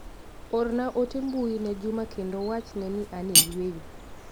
Orna ote mbui ne Juma kendo wach ne ni an e yueyo.